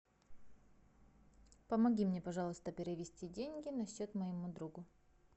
помоги мне пожалуйста перевести деньги на счет моему другу